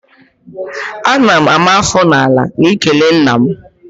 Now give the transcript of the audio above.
Ana m ama afọ n'ala n'ikele nna m